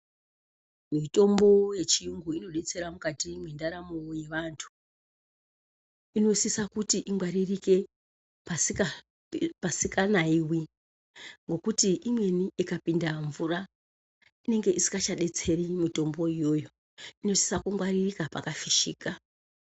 Mitombo yechiyungu inodetsera mukati mwendaramo yevantu. Inosisa kuti ingwaririke pasika nayiwi nekuti imweni ikapinda mvura inenge isingachadetseri mitombo itoyo. Inosisa kungwaririka pakafishika.